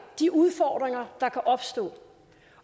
de udfordringer der kan opstå